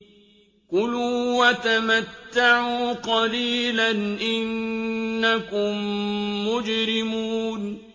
كُلُوا وَتَمَتَّعُوا قَلِيلًا إِنَّكُم مُّجْرِمُونَ